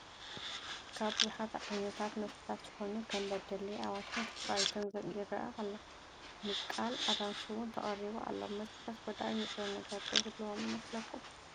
ካብ ብዙሓት ዓ/ት መስተታት ዝኾኑ ከም በደሌ፣ ኣዋሽን ስኘራይትን ይረአ ኣሎ፡፡ ምቃል ኣራንሺ ውን ተቐሪቡ ኣሎ፡፡ መስተታት ጎዳኢ ንጥረ ነገር ዶ ይህልዎም ይመስለኩም?